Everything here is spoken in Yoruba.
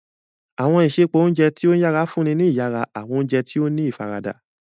Awọn isẹpo ounjẹ ti o yara nfunni ni iyara, awọn oúnjẹ tí o ní ifarada.